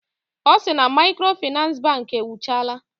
Ọ sị na maịkrofịnans bankị ewuchala